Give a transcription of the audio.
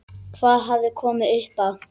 Hvað hafði komið upp á?